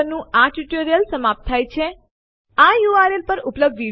ચાલો તેના કન્ટેન્ટ જોઈએ તે માટે આપણે લખીશું કેટ સેમ્પલ3 અને Enter દબાવો